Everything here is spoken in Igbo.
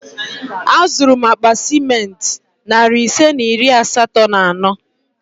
Azụrụ m akpa ciment narị ise na iri asatọ na ano